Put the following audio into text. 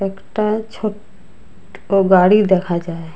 একটা ছোট ও গাড়ি দেখা যায়।